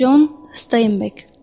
Con Steynbek.